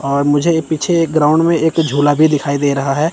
और मुझे पीछे एक ग्राउंड मे एक झूला भी दिखाई दे रहा है।